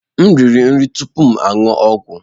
M na-eri nri tupu m aṅụ ọgwụ.